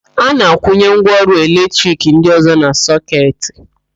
A na-akwụnye ngwaọrụ eletrik ndị ọ̀zọ́ na sọketị.